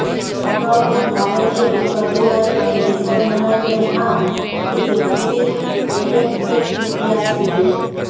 અગાઉ પણ ભારતીય ઉચ્ચ અધિકારીઓને નિશાન બનાવીને આ રીતે ફિશિંગ એટેક થઈ ચૂકયા છે